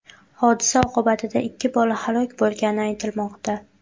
Hodisa oqibatida ikki bola halok bo‘lgani aytilmoqda.